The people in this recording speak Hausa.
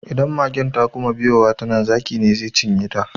Idan magen ta kuma biyowa ta nan, zakin ze cinye ta.